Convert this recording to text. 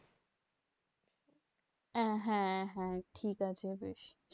আহ হ্যাঁ হ্যাঁ ঠিকাছে বেশ।